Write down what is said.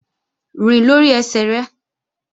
Rìn lórí ẹsẹ̀ rẹ!